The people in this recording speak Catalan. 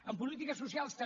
en polítiques socials també